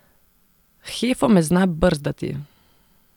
Hefo me zna brzdati.